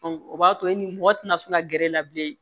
o b'a to e ni mɔgɔ tɛna sun ka gɛrɛ e la bilen